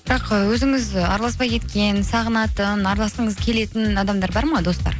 бірақ і өзіңіз араласпай кеткен сағынатын араласқыңыз келетін адамдар бар ма достар